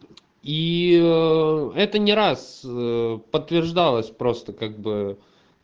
и это не раз подтверждалось просто как бы